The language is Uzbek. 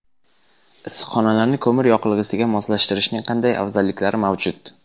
Issiqxonalarni ko‘mir yoqilg‘isiga moslashtirishning qanday afzalliklari mavjud?.